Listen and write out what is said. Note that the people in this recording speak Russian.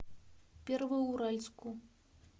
первоуральску